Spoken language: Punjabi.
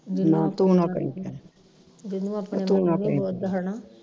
ਨਾ ਤੂੰ ਨਾ ਕਹੀ ਫਿਰ ਤੂੰ ਨਾ ਕਹੀ